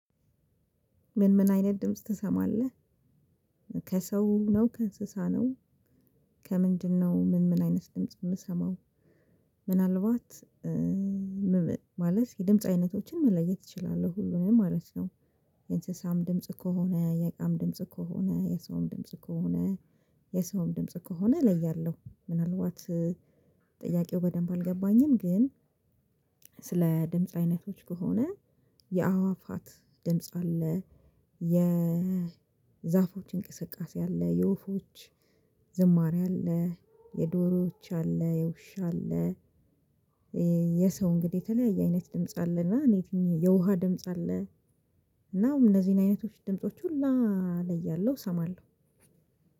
ምን ምን አይነት ድምጽ ትሰማለህ? ከሰው ነው ከእንስሳ ነው? ከምንድነው ምን ምን አይነት ድምጽ የምሰማው? ምናልባት ማለት ድምጽ አይነቶችን መለየት እችላለሁ ሁሉንም ማለት ነው። የእንስሳም ድምጽ ከሆነ የዕቃም ድምጽ ከሆነ የሰውም ድምጽ ከሆነ። የሰውም ድምጽ ከሆነ እለያለሁ ምናልባት ጥያቄው በደንብ አልገባኝም። ግን ስለ ድምጽ አይነቶች ከሆነ የአዋፋት ድምጽ አለ። የዛፎች እንቅስቃሴ አለ የወፎች ዝማሬ አለ የዶሮዎች አለ የውሻ አለ። የሰው እንግዲህ የተለያየ አይነት ድምጽ አለና የውሃ ድምጽ አለ። እናም እነዚህን አይነቶች ድምጾች ሁላ እለያለሁ እሰማለሁ።